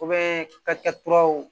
O bɛ ka kɛ turu